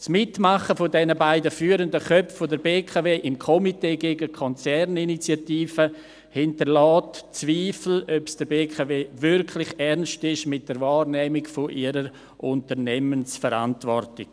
Das Mitmachen der beiden führenden Köpfe der BKW im Komitee gegen die Konzernverantwortungsinitiative hinterlässt Zweifel, ob es der BKW wirklich ernst ist mit der Wahrnehmung ihrer Unternehmensverantwortung.